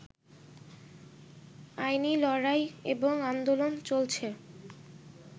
আইনি লড়াই এবং আন্দোলন চলছে